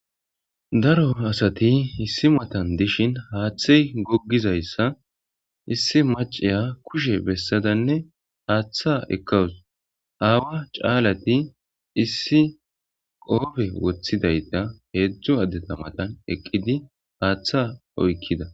Daro asayi issi matanni dishshinni haththeyi gogizayissa issi maaciya kushshen besadanne haththa ekawus.awaa caalati issi qoppe woththidayita hezhzhu adeta matanni eqidi haththa oyikidaa .